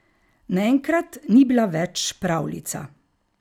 Naenkrat ni bila več pravljica.